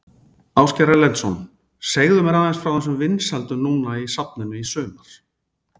Ásgeir Erlendsson: Segðu mér aðeins frá þessum vinsældum núna í safninu í sumar?